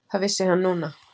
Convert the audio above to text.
Það vissi hann núna.